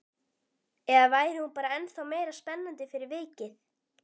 Eða væri hún bara ennþá meira spennandi fyrir vikið?